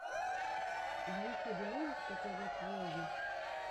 в ютюбе можешь показать влоги